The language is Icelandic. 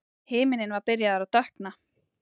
Himinninn var byrjaður að dökkna.